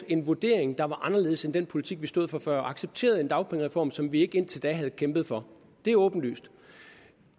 en vurdering der var anderledes end den politik vi stod for før og accepteret en dagpengereform som vi indtil da ikke havde kæmpet for det er åbenlyst